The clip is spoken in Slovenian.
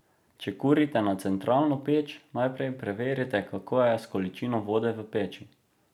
Če kurite na centralno peč, najprej preverite, kako je s količino vode v peči.